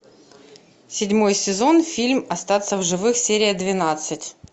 седьмой сезон фильм остаться в живых серия двенадцать